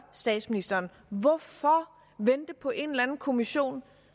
statsministeren hvorfor vente på en eller anden kommission